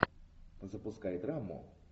запускай драму